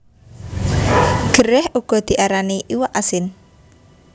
Gerèh uga diarani iwak asin